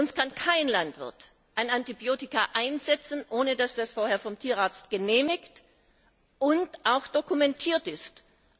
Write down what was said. Bei uns kann kein Landwirt ein Antibiotikum einsetzen, ohne dass das vorher vom Tierarzt genehmigt und auch dokumentiert wurde.